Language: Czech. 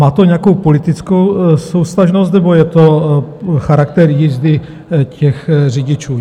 Má to nějakou politickou souvztažnost, nebo je to charakter jízdy těch řidičů?